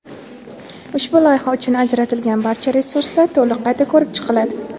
Ushbu loyiha uchun ajratilgan barcha resurslar to‘liq qayta ko‘rib chiqiladi.